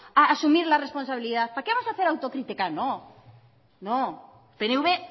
vamos a asumir la responsabilidad para qué vamos a hacer autocrítica no no pnv